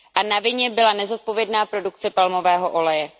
Na vině byla nezodpovědná produkce palmového oleje.